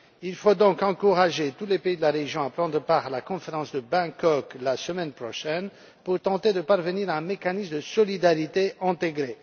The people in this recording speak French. Il faut donc encourager tous les pays de la région à prendre part à la conférence de Bangkok, la semaine prochaine, pour tenter de parvenir à un mécanisme de solidarité intégré.